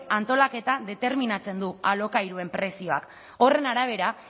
antolaketa determinatzen du alokairuen prezioak horren arabera